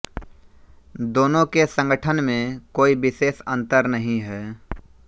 दोनों के संघटन में कोई विशेष अंतर नहीं है